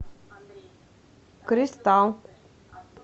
кристалл